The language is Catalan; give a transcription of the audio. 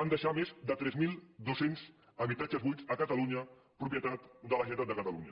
va deixar més de tres mil dos cents habitatges buits a catalunya propietat de la generalitat de catalunya